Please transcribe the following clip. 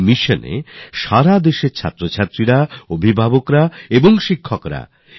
এই মিশনকে সারা দেশের ছাত্রছাত্রীরা পেরেন্টস আর টিচার্স গতি দিয়েছেন